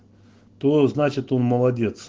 тоо значит он молодец